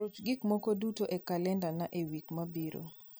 ruch gik moko duto e kalendana e wik mabiro